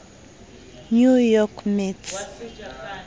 new york mets